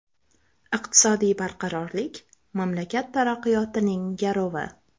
Iqtisodiy barqarorlik – mamlakat taraqqiyotining garovi!